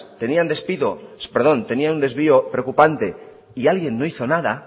tenían un desvío preocupante y alguien no hizo nada